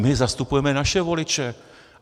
My zastupujeme naše voliče.